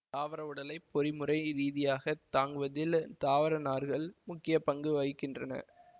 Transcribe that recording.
தாவர உடலை பொறிமுறை ரீதியாகத் தாங்குவதில் தாவர நார்கள் முக்கிய பங்கு வகிக்கின்றன